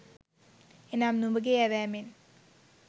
එනම්, නුඹගේ ඇවෑමෙන්